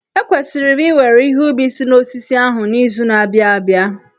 Ekwesịrị m iwere ihe ubi si n'osisi ahụ n'izu na-abịa abịa.